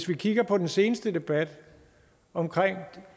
vi kigger på den seneste debat om